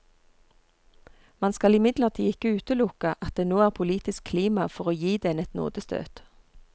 Man skal imidlertid ikke utelukke at det nå er politisk klima for å gi den et nådestøt.